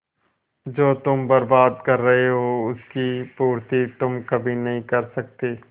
जो तुम बर्बाद कर रहे हो उसकी पूर्ति तुम कभी नहीं कर सकते